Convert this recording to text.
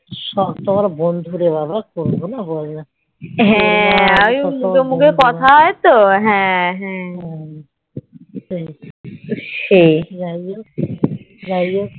হ্যাঁ আমি মুখে মুখে কথা হয় তো হ্যাঁ হ্যাঁ সেই